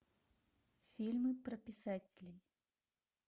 фильмы про писателей